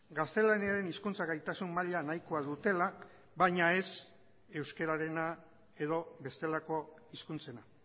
gaztelaniaren hizkuntza gaitasun maila nahikoa dutela baina ez euskararena edo bestelako hizkuntzena